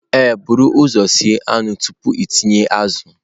Ee, buru ụzọ sie anụ tupu ịtinye azụ.